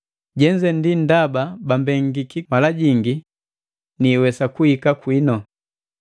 Jenze ndi ndaba bambengiki mala jingi niiwesa kuhika kwinu.